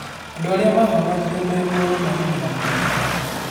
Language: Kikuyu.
Andũ arĩa maahonokirio mĩ muoyo maarĩ mĩrongo ĩna.